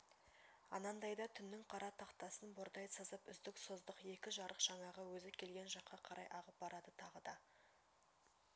анандайда түннің қара тақтасын бордай сызып үздік-создық екі жарық жаңағы өзі келген жаққа қарай ағып барады тағы да